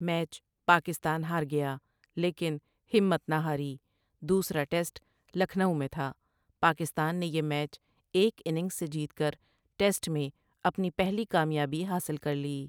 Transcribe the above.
Match Pakistan ہار گیا لیکن ہمت نہ ہاری دوسرا ٹیسٹ لکھنئو میں تھا پاکستان نے یہ میچ ایک اننگز سے جیت کر ٹیسٹ میں اپنی پہلی کامیابی حاصل کرلی۔